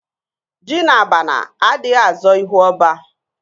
Ji na abana adịghị azọ ihu ọba